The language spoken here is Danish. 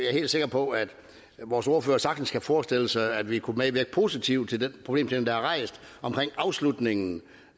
helt sikre på at vores ordfører sagtens kan forestille sig at vi kunne medvirke positivt til den problemstilling der er rejst omkring afslutningen